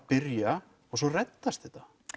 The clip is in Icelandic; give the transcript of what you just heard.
byrja og svo reddast þetta